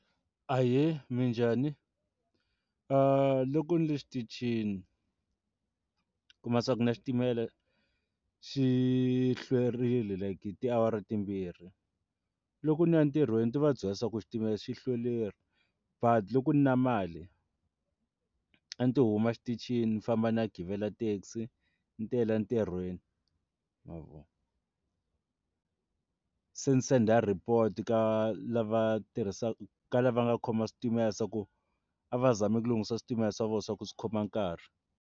Ahee, minjhani? Loko ni le xitichini kuma swa ku na xitimela xi hlwerile like hi tiawara timbirhi loko ni ya ntirhweni ta va byela ku xitimela xi hlwerile but loko ndzi na mali a ni to huma xitichini ndzi famba ndzi ya givela taxi ndzi tela ntirhweni ma vona se senda report ka lava tirhisaka ka lava nga khoma switimela se ku a va zami ku lunghisa switimela swa vona swa ku swi khoma nkarhi.